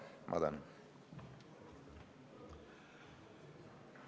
Ma tänan!